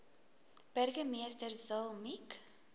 burgemeester zille mik